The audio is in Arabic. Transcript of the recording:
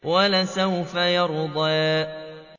وَلَسَوْفَ يَرْضَىٰ